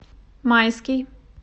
майский